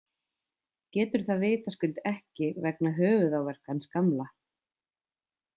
Getur það vitaskuld ekki vegna höfuðáverkans gamla.